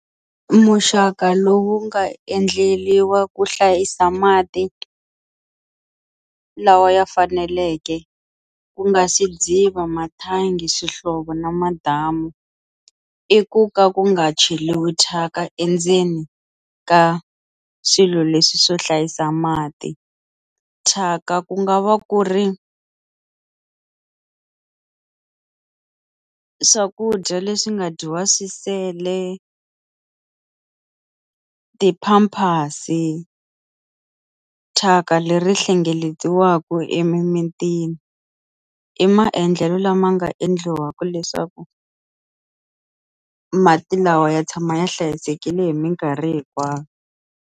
Muxaka lowu nga endleriwa ku hlayisa mati lawa ya faneleke ku nga swidziva, mathangi, swihlovo na madamu i ku ka ku nga cheriwi thyaka endzeni ka swilo leswi swo hlayisa mati, thyaka ku nga va ku ri swakudya leswi nga dyiwa swi sele ti-pampers, thyaka leri hlengeletiwaku emimitini i maendlelo lama nga endliwaka leswaku mati lawa ya tshama ya hlayisekile hi minkarhi hinkwayo.